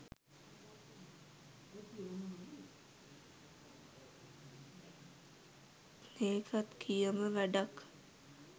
ඒකත් කියම වැඩක්